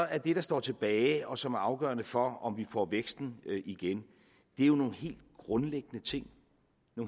er det der står tilbage og som er afgørende for om vi får væksten igen nogle helt grundlæggende ting